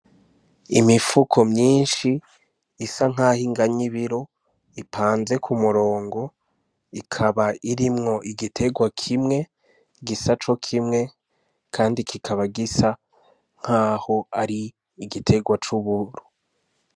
Imifuko myinshi isa nkaho inganya ibiro, ipanze ku murongo ikaba irimwo igiterwa kimwe gisa cokimwe kandi kikaba gisa nkaho ari igiterwa c'uburo.